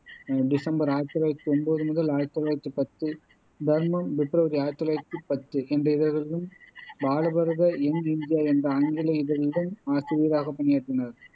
December ஆயிரத்தி தொள்ளாயிரத்தி ஒம்போது முதல் ஆயிரத்தி தொள்ளாயிரத்தி பத்து, தர்மம் பிப்ரவரி ஆயிரத்தி தொள்ளாயிரத்தி பத்து என்ற இதழ்களிலும் பாலபாரத யங் இண்டியா என்ற ஆங்கில இதழிலும் ஆசிரியராகப் பணியாற்றினார்